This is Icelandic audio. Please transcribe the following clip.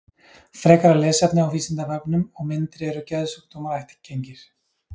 Frekara lesefni á Vísindavefnum og myndir Eru geðsjúkdómar ættgengir?